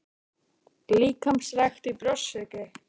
Líkamsrækt í Brjóstsykri